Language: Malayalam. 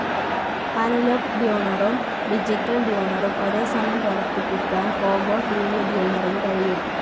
അനലോഗ്‌ ട്യൂണറും ഡിജിറ്റൽ ട്യൂണറും ഒരേ സമയം പ്രവർത്തിപ്പിക്കാൻ കോംബോ ട്‌ വി ട്യൂണറിന് കഴിയും.